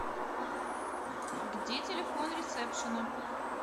где телефон ресепшена